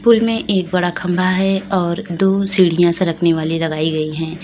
Pool में एक बड़ा खम्भा है और दो सीढ़ियां सरकने वाली लगाई गई हैं।